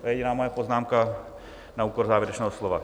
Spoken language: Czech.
To je jediná moje poznámka na úkor závěrečného slova.